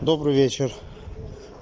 добрый вечер